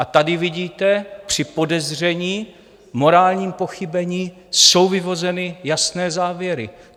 A tady vidíte, při podezření, morálním pochybení, jsou vyvozeny jasné závěry.